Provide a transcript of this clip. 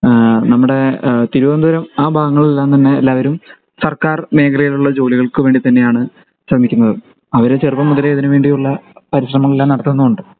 ഈഹ് നമ്മുടെ തിരുവനന്തപുരം ആ ഭാഗങ്ങളിൽ എല്ലാം തന്നെ എല്ലാവരും സർക്കാർ മേഖലകളിൽ ഉള്ള ജോലികൾക്കുവേണ്ടി തന്നെയാണ് ശ്രമിക്കുന്നത് അവർ ചെറുപ്പം മുതലേ ഇതിനുവേണ്ടിയുള്ള പരിശ്രമം എല്ലാം നടത്തുന്നുമുണ്ട്